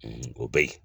O bɛ yen